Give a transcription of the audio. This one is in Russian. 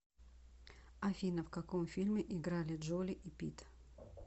афина в каком фильме играли джоли и питт